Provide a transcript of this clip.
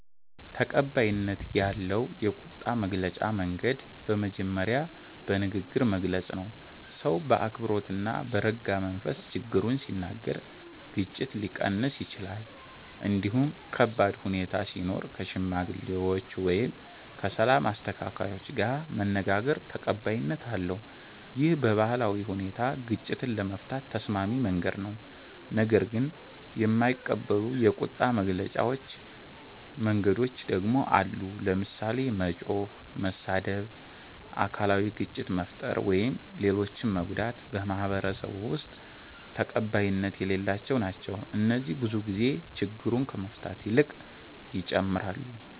ተቀባይነት ያለው የቁጣ መግለጫ መንገድ በመጀመሪያ በንግግር መግለጽ ነው። ሰው በአክብሮት እና በረጋ መንፈስ ችግሩን ሲናገር ግጭት ሊቀንስ ይችላል። እንዲሁም ከባድ ሁኔታ ሲኖር ከሽማግሌዎች ወይም ከሰላም አስተካካዮች ጋር መነጋገር ተቀባይነት አለው። ይህ በባህላዊ ሁኔታ ግጭትን ለመፍታት ተስማሚ መንገድ ነው። ነገር ግን የማይቀበሉ የቁጣ መግለጫ መንገዶች ደግሞ አሉ። ለምሳሌ መጮህ፣ መሳደብ፣ አካላዊ ግጭት መፍጠር ወይም ሌሎችን መጎዳት በማህበረሰቡ ውስጥ ተቀባይነት የሌላቸው ናቸው። እነዚህ ብዙ ጊዜ ችግሩን ከመፍታት ይልቅ ይጨምራሉ